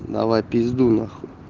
давай пиздуй нахуй